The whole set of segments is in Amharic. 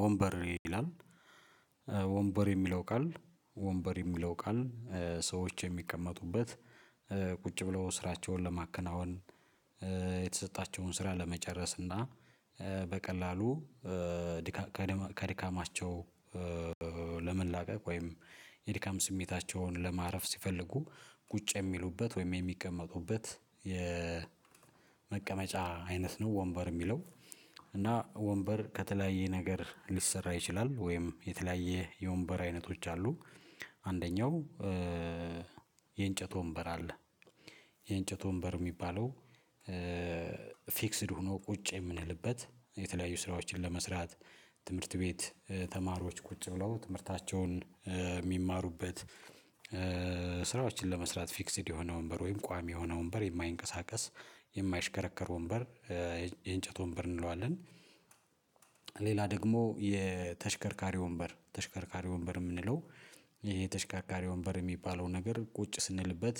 ወንበር ይላል ወንበር የሚለው ቃል ወንበር የሚለው ቃል። ሰዎች የሚቀመጡበት ቁጭ ብለው ስራቸውን ለማከናወን የተሰጣቸውን ስራ ለመጨረስ። እና በቀላሉ ድካም ከድካማቸው ለመላቀቅ ወይም የድካም ስሜታቸውን ለማረፍ ሲፈልጉ ቁጭ የሚሉበት ወይም የሚቀመጡበት የመቀመጫ አይነት ነው ወንበር የሚለው። እና ወንበር ከተለያየ ነገር ሊሰራ ይችላል ወይም የተለያየ የወንበር አይነቶች አሉ። አንደኛው የእንጨት ወንበር አለ። የእንጨት ወንበር የሚባለው ፊክስድ ሆኖ ቁጭ የምንልበት የተለያዩ ስራዎችን ለመስራት ትምህርት ቤት ተማሪዎች ቁጭ ብለው ትምህርታቸውን እሚማሩበት። ስራዎችን ለመስራት ፊክስድ የሆነ ወንበር ወይም ቋሚ የሆነ ወንበር የማይንቀሳቀስ የማይሽከረከር ወንበር የእንጨት ወንበር እንለዋለን። ሌላ ደግሞ የተሽከርካሪ ወንበር ተሽከርካሪ ወንበር የምንለው። ይሄ ተሽከርካሪ ወንበር እሚባለው ነገር ቁጭ ስንልበት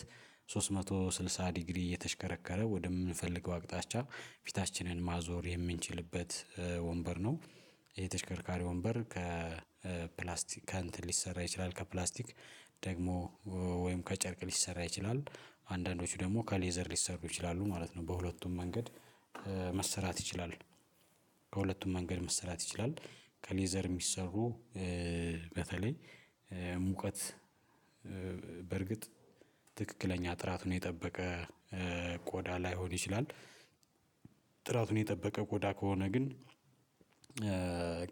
ሶስት መቶ ስልሳ ዲግሪ እየተሽከረከረ ወደ ምንፈልገው ኣቅጣጫ ፊታችንን ማዞር የምንችልበት ወንበር ነው። የተሽከርካሪ ወንበር ከፕላስቲካንት ሊሰራ ይችላል ከፕላስቲክ ደግሞ ወይም ከጨርቅ ሊሰራ ይችላል። አንዳንዶቹ ደሞ ከሌዘር ሊሰሩ ይችላሉ ማለት ነው። በሁለቱም መንገድ መሰራት ይችላሉ። በሁለቱም መንገድ መሰራት ይችላል። ከሌዘር የሚሰሩ በተለይ ሙቀት በእርግጥ ትክክለኛ ጥራቱን የጠበቀ ቆዳ ላይሆን ይችላል። ጥራቱን የጠበቀ ቆዳ ከሆነ ግን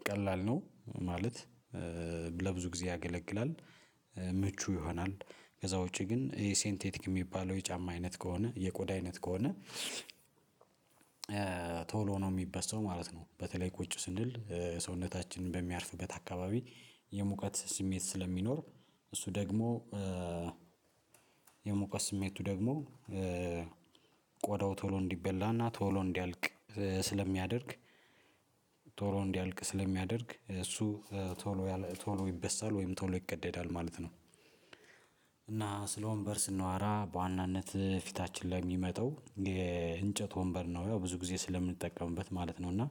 ቀላል ነው ማለት ለብዙ ጊዜ ያገለግላል። ምቹ ይሆናል። ከዛ ውጪ ግን እሄ ሴንቴቲክ የሚባለው የጫማ አይነት ከሆነ የቆዳ አይነት ከሆነ ቶሎ ነው የሚበሳው ማለት ነው። በተለይ ቁጭ ስንል ሰውነታችንን በሚያርፍበት አካባቢ የሙቀት ስሜት ስለሚኖር እሱ ደግሞ የሞቀ ስሜቱ ደግሞ ቆዳው ቶሎ እንዲበላና ቶሎ እንዲያልቅ ስለሚያደርግ ቶሎ እንዲያልቅ ስለሚያደርግ እሱ ቶሎ እያለ ቶሎ ይበሳል ወይም ቶሎ ይቀደዳል ማለት ነው። እና ስለ ወንበር ስናወራ በዋናነት ፊታችን ላይ የሚመጣው የእንጨት ወንበር ነው። ያው ብዙ ጊዜ ስለምንጠቀምበት ማለት ነው። እና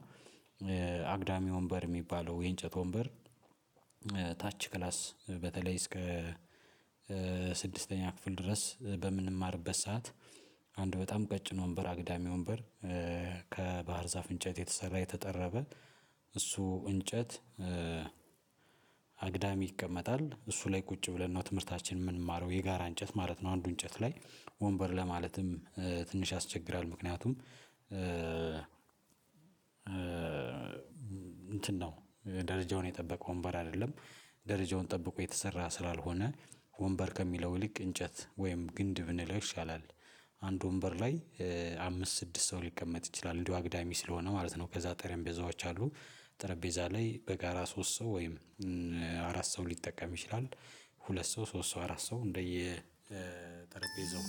አግዳሚ ወንበር የሚባለው የእንጨት ወንበር። ታች ክላስ በተለይ እስከ ስድስተኛ ክፍል ድረስ በምንማርበት ሰዓት አንድ በጣም ቀጭን ወንበር አግዳሚ ወንበር። ከባህር ዛፍ እንጨት የተሰራ የተጠረበ እሱ እንጨት አግዳሚ ይቀመጣል እሱ ላይ ቁጭ ብለን ነው ትምህርታችን ምምንማረው የጋራ እንጨት ማለት ነው። አንዱ እንጨት ላይ ወንበር ለማለትም ትንሽ ያስቸግራል ምክንያቱም። እንትን ነው ደረጃውን የጠበቀ ወንበር አይደለም። ደረጃውን ጠብቆ የተሰራ ስላልሆነ ወንበር ከሚለው ልክ እንጨት ወይም ግንድብ ብንለው ይሻላል። አንድ ወንበር ላይ አምስት ስድስት ሰው ሊቀመጥ ይችላል እንዲሁ አግዳሚ ስለሆነ ማለት ነው። ከዛ ጠረጴዛዎች አሉ። ጠረጴዛ ላይ በጋራ ሶስት ሰው ወይም አራት ሰው ሊጠቀም ይችላል። ሁለት ሰው ሶስት ሰው አራት ሰው እንደየ ጠረጴዛው